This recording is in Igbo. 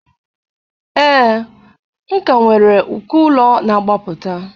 Ee, m ka nwere uko ụlọ na-agbapụta.